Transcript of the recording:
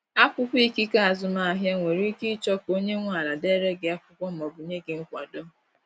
Akwụkwọ ikike azụmahịa, nwere ike ịchọ ka onye nwe ala dere gị akwụkwọ ma ọ bụ nye gị nkwado.